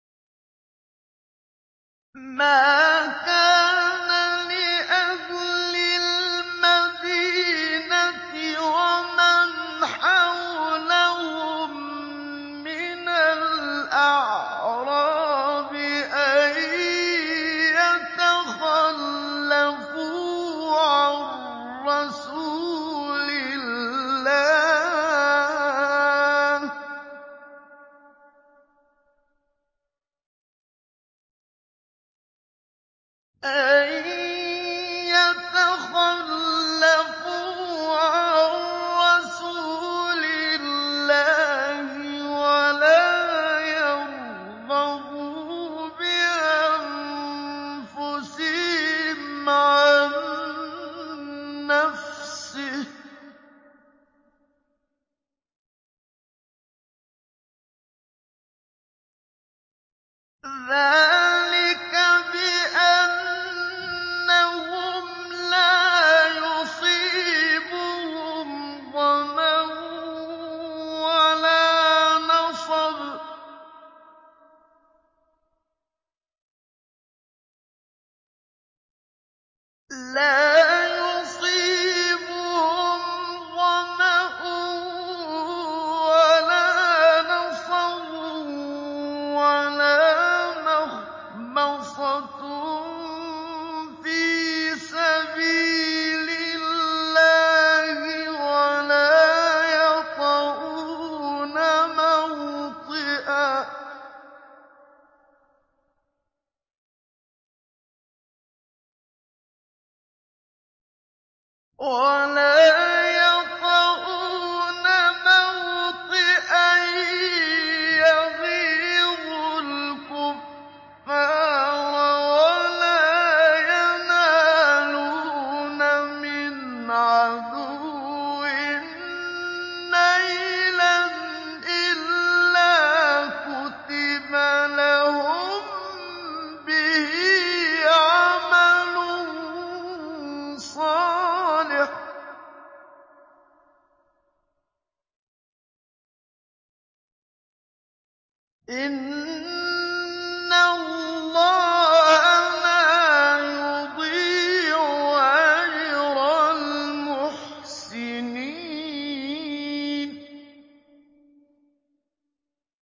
مَا كَانَ لِأَهْلِ الْمَدِينَةِ وَمَنْ حَوْلَهُم مِّنَ الْأَعْرَابِ أَن يَتَخَلَّفُوا عَن رَّسُولِ اللَّهِ وَلَا يَرْغَبُوا بِأَنفُسِهِمْ عَن نَّفْسِهِ ۚ ذَٰلِكَ بِأَنَّهُمْ لَا يُصِيبُهُمْ ظَمَأٌ وَلَا نَصَبٌ وَلَا مَخْمَصَةٌ فِي سَبِيلِ اللَّهِ وَلَا يَطَئُونَ مَوْطِئًا يَغِيظُ الْكُفَّارَ وَلَا يَنَالُونَ مِنْ عَدُوٍّ نَّيْلًا إِلَّا كُتِبَ لَهُم بِهِ عَمَلٌ صَالِحٌ ۚ إِنَّ اللَّهَ لَا يُضِيعُ أَجْرَ الْمُحْسِنِينَ